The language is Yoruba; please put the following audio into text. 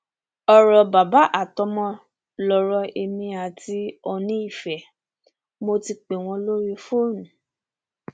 ọrọ bàbá àtọmọ lọrọ èmi àti oòní ife mo ti pè wọn lórí fóònù